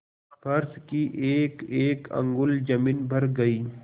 फर्श की एकएक अंगुल जमीन भर गयी